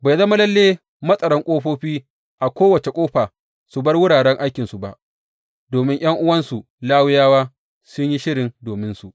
Bai zama lalle matsaran ƙofofi a kowace ƙofa su bar wuraren aikinsu ba, domin ’yan’uwansu Lawiyawa sun yi shiri dominsu.